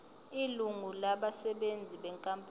ilungu labasebenzi benkampani